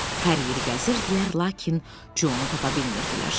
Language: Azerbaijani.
Hər yeri gəzirdilər, lakin Conu tapa bilmirdilər.